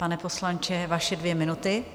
Pane poslanče, vaše dvě minuty.